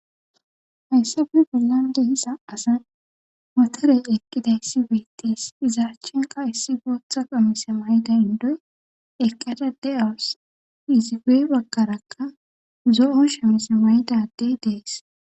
Hayssabe bollandehisa asa waterey eqqida issi weetees izaachinka issi gootha qamisa wayda indoy eqqada de7aos iziwe bakkarakka zo7o shemes waydadey dees.